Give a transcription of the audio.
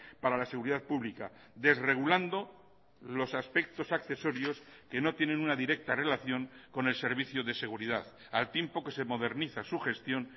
para la seguridad pública desregulando los aspectos accesorios que no tienen una directa relación con el servicio de seguridad al tiempo que se moderniza su gestión